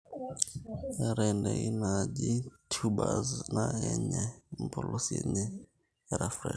keetae ndaiki naaji tubers naa kenyiai impolosi enye era fresh